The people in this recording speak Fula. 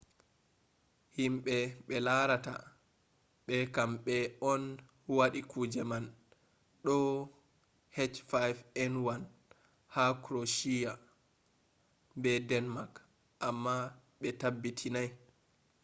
himɓe ɓe larata ɓa kamɓe on waɗi kuje man ɗo h5n1 ha kroweshiya be denmak amma ɓe tabbitinai